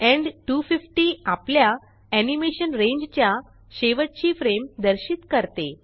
end 250आपल्या animation रेंजच्या शेवटची फ्रेम दर्शित करते